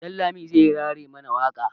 Dan lami zai rera mana waƙa.